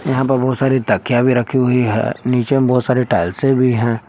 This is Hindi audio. यहां पर बहुत सारी तकिया भी रखी हुई है नीचे में बहुत सारी टाइल्से भी है।